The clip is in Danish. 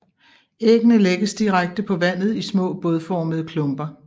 Æggene lægges direkte på vandet i små bådformede klumper